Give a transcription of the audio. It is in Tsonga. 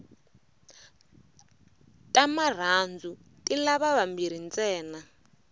ta marhandu ti lava vambirhi ntsena